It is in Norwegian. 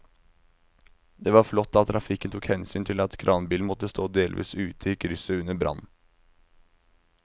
Det var flott at trafikken tok hensyn til at kranbilen måtte stå delvis ute i krysset under brannen.